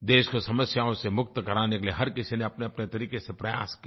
देश को समस्याओं से मुक्त कराने के लिये हर किसी ने अपनेअपने तरीक़े से प्रयास किए